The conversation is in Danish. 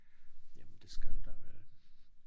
Jamen det skal du da vel